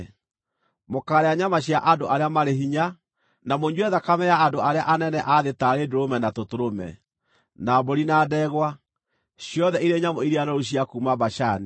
Mũkaarĩa nyama cia andũ arĩa marĩ hinya, na mũnyue thakame ya andũ arĩa anene a thĩ taarĩ ndũrũme na tũtũrũme, na mbũri na ndegwa, ciothe irĩ nyamũ iria noru cia kuuma Bashani.